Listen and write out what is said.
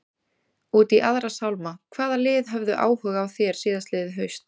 Út í aðra sálma, hvaða lið höfðu áhuga á þér síðastliðið haust?